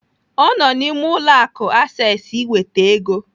Ọ nọ n'ime ụlọ akụ Access iweta ego.